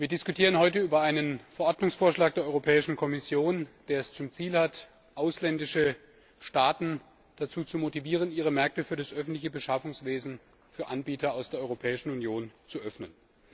Wir diskutieren heute über einen Verordnungsvorschlag der Europäischen Kommission, der es zum Ziel hat, ausländische Staaten dazu zu motivieren, ihre Märkte für das öffentliche Beschaffungswesen für Anbieter aus der Europäischen Union zu öffnen.